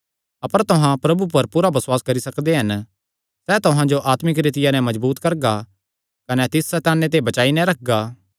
अपर तुहां प्रभु पर पूरा बसुआस करी सकदे हन सैह़ तुहां जो आत्मिक रीतिया नैं मजबूत करगा कने तिस सैताने ते बचाई नैं रखगा